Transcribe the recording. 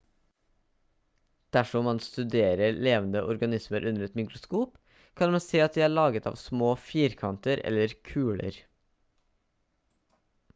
dersom man studerer levende organismer under et mikroskop kan man se at de er laget av små firkanter eller kuler